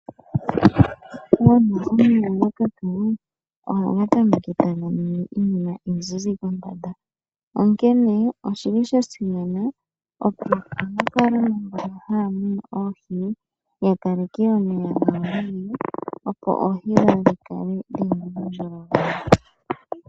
Uuna omeya ga kaka ohaga tameke taga ningi iinima iizizi kombanda inkene oshili sha simana opo aanafalama mbono haya munu oohi ya kaleke omeya gawo gayela opo oohi dhawo dhikale dhina uundjolowele.